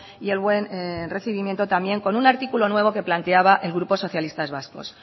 y el buen el recibimiento también con un artículo nuevo que planteaba el grupo socialistas vascos